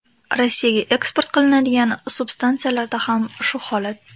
Rossiyaga eksport qilinadigan substansiyalarda ham shu holat.